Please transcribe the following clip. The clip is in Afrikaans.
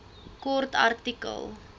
kort artikel